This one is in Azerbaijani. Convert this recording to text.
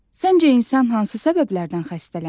Səncə insan hansı səbəblərdən xəstələnir?